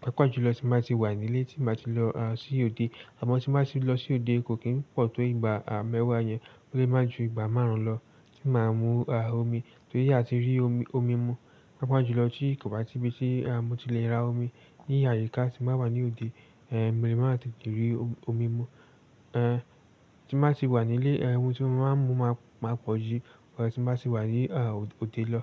papa jùlọ ti n ba ti wà ni ilẹ tí n ba ti lo sí òde àmọ́ tí mo bá ti lọ sí òde kò kí ń pọ̀ tó ìgbà àá mẹ́wàá yẹn, ó lè máa ju ìgbà márùn-ún lọ tí màá mú omi torí a ti rí omi mú, pàápàá jùlọ tí kò bá sí ibi tí mo ti lè ra omi. Ní àyíká tí mo bá wà ní òde, mo lè máa tètè rí omi mú. Tí mo bá ti wà ní ilé, omi tí mo máa ń mu máa pọ̀ ju ìgbà ti mo bá ti wà ní òde lọ.